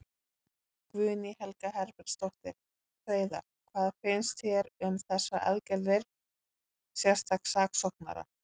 Guðný Helga Herbertsdóttir: Hreiðar, hvað finnst þér um þessar aðgerðir sérstaks saksóknara?